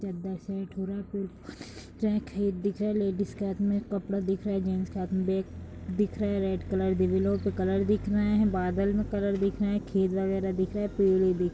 चद्दर सेट हो रहा है दिख रहा है लेडिस के हाथ में कपड़ा दिख रहा है जेंट्स के हाथ में बैग दिख रहा है रेड कलर दीवालो पे कलर दिख रहा है बादल में कलर दिख रहा हैखेत वगैरह दिख रहे हैं पेड़ --